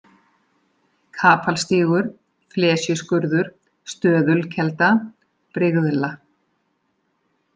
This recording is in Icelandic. Kapalstígur, Flesjuskurður, Stöðulkelda, Brigðla